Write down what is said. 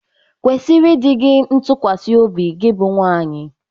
Kwesiri dị gi ntụkwasị obi gi bụ nwaanyị!